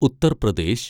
Uttar Pradesh